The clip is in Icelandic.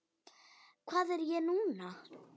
Hvað er ég núna?